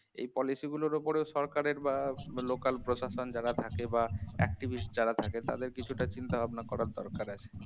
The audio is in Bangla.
এই policy গুলোর উপরেও সরকারের বা local প্রশাসন যারা থাকে বা activist যারা থাকে তাদের কিছুটা চিন্তাভাবনা করার দরকার আছে